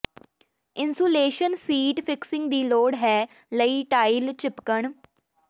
insulation sheet fixing ਦੀ ਲੋੜ ਹੈ ਲਈ ਟਾਈਲ ਿਚਪਕਣ